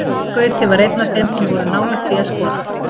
Brynjar Gauti var einn af þeim sem voru nálægt því að skora.